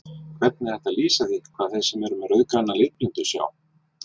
Hvernig er hægt að lýsa því hvað þeir sem eru með rauðgræna litblindu sjá?